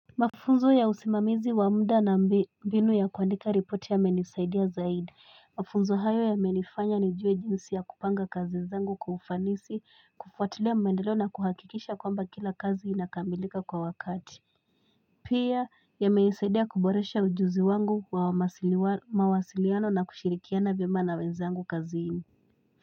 Mafunzo ya usimamizi wa mda na mbinu ya kuandika ripoti yamenisaidia zaidi. Mafunzo hayo ya menifanya ni juwe jinsi ya kupanga kazi zangu kufanisi, kufuatilia maendeleo na kuhakikisha kwamba kila kazi inakambilika kwa wakati. Pia ya menisaidia kuboresha ujuzi wangu wa mawasiliano na kushirikiana bima na wenzangu kazi hii.